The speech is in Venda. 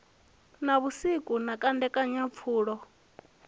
na vhusiku na kandekanya pfulo